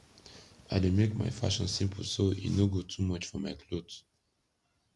i dey make mai fashion simpol so e no go too much for mai kloth